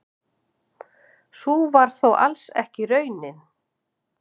Sú var þó alls ekki raunin.